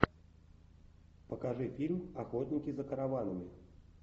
покажи фильм охотники за караванами